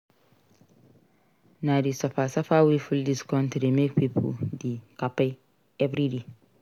Na di suffer-suffer wey full dis country make pipo dey kpai everyday.